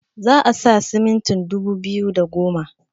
za a sa siminti dubu biyu da da goma